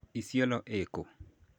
Isiolo ĩ kũ?